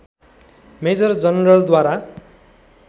major जनरलद्वारा